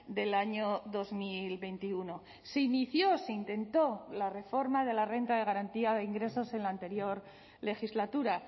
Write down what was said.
del año dos mil veintiuno se inició se intentó la reforma de la renta de garantía de ingresos en la anterior legislatura